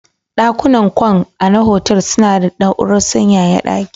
Ɗakunan kwan ana hotel suna da na'urar sanyaya ɗaki.